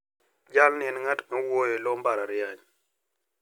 Jalni en ng`at mawuoyo e lo mbalariany.